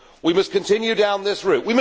We must continue down this route.